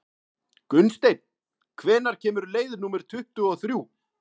Gunnsteinn, hvenær kemur leið númer tuttugu og þrjú?